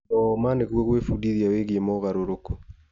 Thoma nĩguo gwĩbundithia wĩgiĩ mogarũrũku.